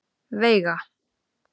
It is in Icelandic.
Veiga